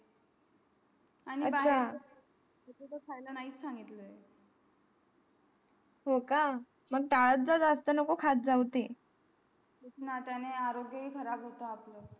खायला नाहीच सांगितलं हो का मग तालात जा जास्त नको खाऊच ते तेंही आरोग्य हे खराब होता आपला